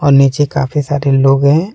नीचे काफी सारे लोग हैं।